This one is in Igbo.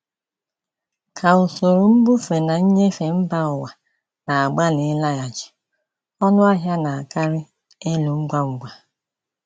Ka usoro mbufe na nnyefe mba ụwa na-agbalị ịlaghachi, ọnụ ahịa na-akarị elu ngwa ngwa.